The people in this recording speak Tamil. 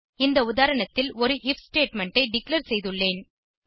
இந்த உதாரணத்தில் ஒரு ஐஎஃப் ஸ்டேட்மெண்ட் ஐ டிக்ளேர் செய்துள்ளேன்